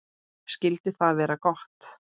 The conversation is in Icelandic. Skyldi það vera gott?